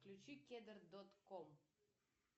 включи кедр дот ком